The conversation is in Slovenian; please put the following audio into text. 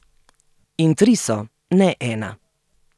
In tri so, ne ena.